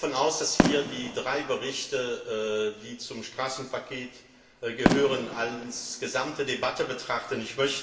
Ich gehe davon aus, dass wir die drei Berichte, die zum Straßenpaket gehören, als Gesamtdebatte betrachten.